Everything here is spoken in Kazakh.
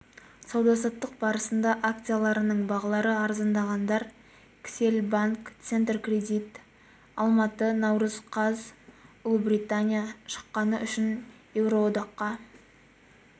сауда-саттық барысында акцияларының бағалары арзандағандар кселл банк центркредит алматы наурыз қаз ұлыбритания шыққаны үшін еуроодаққа